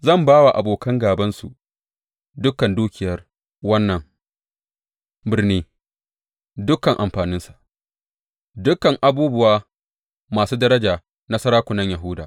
Zan ba wa abokan gābansu dukan dukiyar wannan birni dukan amfaninsa, dukan abubuwa masu daraja na sarakunan Yahuda.